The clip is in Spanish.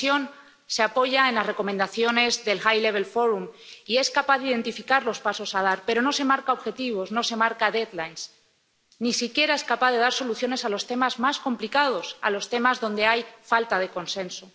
La Comisión se apoya en las recomendaciones del Foro de Alto Nivel y es capaz de identificar los pasos que hay que dar, pero no se marca objetivos, no se marca plazos, ni siquiera es capaz de dar soluciones a los temas más complicados, a los temas donde hay falta de consenso.